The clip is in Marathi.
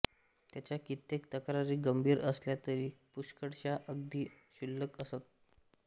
त्याच्या कित्येक तक्रारी गंभीर असल्या तरी पुष्कळशा अगदी क्षुल्लक असत